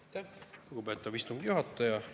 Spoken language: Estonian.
Aitäh, lugupeetav istungi juhataja!